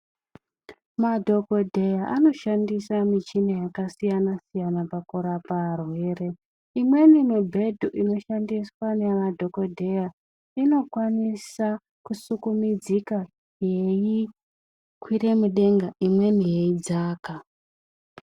Madhokodheya anoshandisa michini yakasiyana siyana pakurapa arwere .Imweni mibhedha inoshandiswa nemadhokodheya inokwanisa kusukumidzika yeikwira mudenga ,imweni yeidzaka .